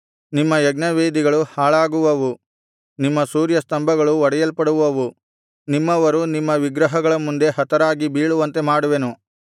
ನಿಮ್ಮ ಯಜ್ಞವೇದಿಗಳು ಹಾಳಾಗುವವು ನಿಮ್ಮ ಸೂರ್ಯಸ್ತಂಭಗಳು ಒಡೆಯಲ್ಪಡುವವು ನಿಮ್ಮವರು ನಿಮ್ಮ ವಿಗ್ರಹಗಳ ಮುಂದೆ ಹತರಾಗಿ ಬೀಳುವಂತೆ ಮಾಡುವೆನು